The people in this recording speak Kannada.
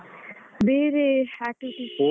ಬೇರೆ activities ಹ.